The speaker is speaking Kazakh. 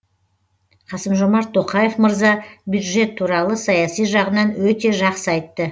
қасым жомарт тоқаев мырза бюджет туралы саяси жағынан өте жақсы айтты